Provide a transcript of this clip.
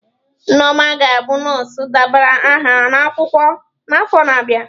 Nneoma ga-abụ nọọsụ debara aha n'akwụkwọ n'afọ na-abịa.